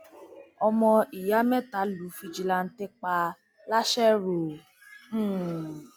ọmọ ìyá mẹta lu fìjìláńtẹ pa làṣẹrò um